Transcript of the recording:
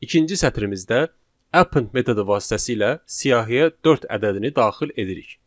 İkinci sətrimizdə append metodu vasitəsilə siyahıya dörd ədədini daxil edirik.